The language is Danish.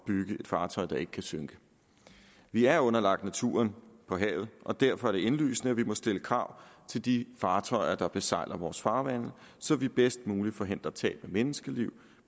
bygge et fartøj der ikke kan synke vi er underlagt naturen på havet og derfor er det indlysende at vi må stille krav til de fartøjer der besejler vores farvande så vi bedst muligt forhindrer tab af menneskeliv